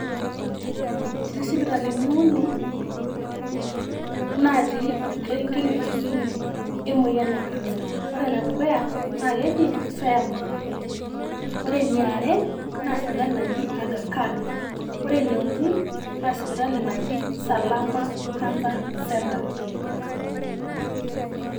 Eti sipitalini uni natii orkerenket le Kisumu emoyian e kansa. ore ene dukuya naake eji Fairmount, ore eniare naa sipitali naji Agha khan, ore ene uni naa sipitali naji Salama cancer center.